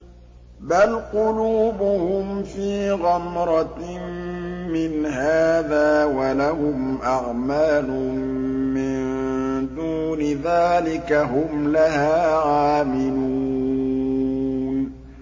بَلْ قُلُوبُهُمْ فِي غَمْرَةٍ مِّنْ هَٰذَا وَلَهُمْ أَعْمَالٌ مِّن دُونِ ذَٰلِكَ هُمْ لَهَا عَامِلُونَ